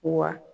Wa